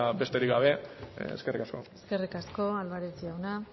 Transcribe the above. besterik gabe eskerrik asko eskerrik asko álvarez jauna